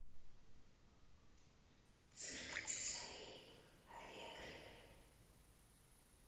цирк дю солей алегрия